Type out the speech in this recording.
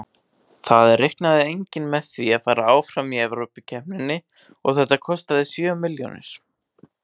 Það reiknaði enginn með að fara áfram í Evrópukeppninni og þetta kostaði sjö milljónir.